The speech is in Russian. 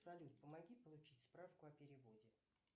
салют помоги получить справку о переводе